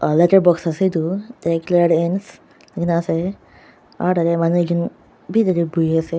Aah letter box ase etu tate clearance aro tate manu ekjunnn bi tate buhi ase.